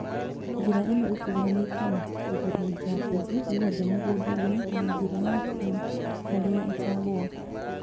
Njĩra ĩno ĩkũruhanĩtio na kũhurunja mbegũ gwothe mũgunda-inĩ na njĩra ya p harĩa ikagũa